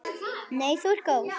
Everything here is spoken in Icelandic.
Nei þú ert góð.